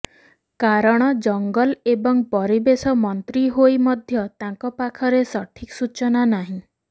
କାରଣ ଜଙ୍ଗଲ ଏବଂ ପରିବେଶ ମନ୍ତ୍ରୀ ହୋଇ ମଧ୍ୟ ତାଙ୍କ ପାଖରେ ସଠିକ୍ ସୂଚନା ନାହିଁ